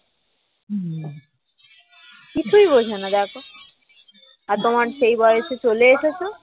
কিছুই বোঝে না দেখো আর তোমার সেই বয়সে চলে এসেছ